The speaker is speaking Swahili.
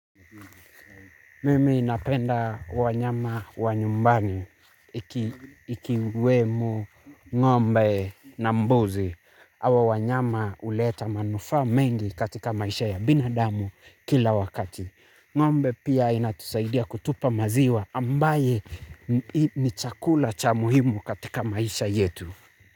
Mimi napenda wanyama wa nyumbani ikiwemo ng'ombe na mbuzi hawa wanyama huleta manufaa mengi katika maisha ya binadamu kila wakati. Ng'ombe pia inatusaidia kutupa maziwa ambaye ni chakula cha muhimu katika maisha yetu.